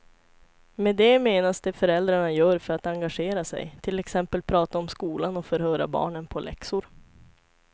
Med det menas det föräldrarna gör för att engagera sig, till exempel prata om skolan och förhöra barnen på läxor.